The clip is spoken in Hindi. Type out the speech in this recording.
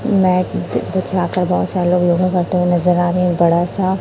मैट बिछा कर बहुत सारे लोग योगा करते हुए नजर आ रहे हैं बड़ा सा--